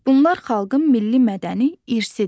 Bunlar xalqın milli mədəni irsidir.